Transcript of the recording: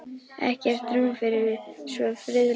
Ekkert rúm fyrir svo friðlausar hugleiðingar: ekki lengur.